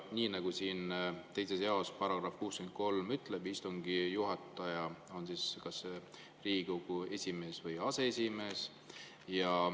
Nii nagu siin 2. jaos § 63 ütleb, on istungi juhataja kas Riigikogu esimees või aseesimees.